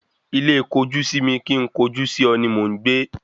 Ilé kojú-sí-mi kín ń kojú-sí-ọ ni mò ń gbé